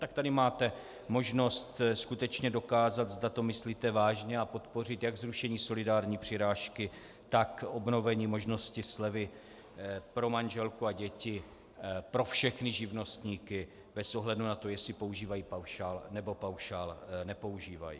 Tak tady máte možnost skutečně dokázat, zda to myslíte vážně, a podpoříte jak zrušení solidární přirážky, tak obnovení možnosti slevy pro manželku a děti pro všechny živnostníky bez ohledu na to, jestli používají paušál, nebo paušál nepoužívají.